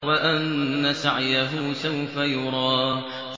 وَأَنَّ سَعْيَهُ سَوْفَ يُرَىٰ